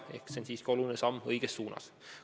See on siiski oluline samm õiges suunas.